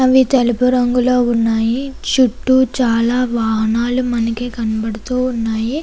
ఇక్కడ తెలుపు రంగులో ఉన్నాయి. చుట్టూ చాలా వాహనాలు మనకి కనబడుతూ ఉన్నాయి.